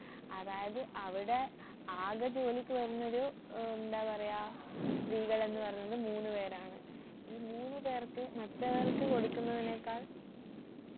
അതായത് അവിടെ ആകെ ജോലിക്കു വരുന്നൊരു ഏർ എന്താ പറയാ സ്ത്രീകൾ എന്നു പറയുന്നത് മൂന്നു പേരാണ് ഈ മൂന്നു പേർക്ക് മറ്റവർക്ക് കൊടുക്കുന്നതിനേക്കാൾ